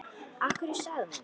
Af hverju sagði hann þetta?